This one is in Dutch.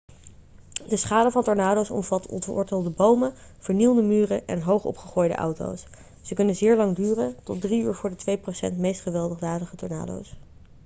de schade van tornado's omvat ontwortelde bomen vernielde muren en hoog opgegooide auto's ze kunnen zeer lang duren tot drie uur voor de twee procent meest gewelddadige tornado's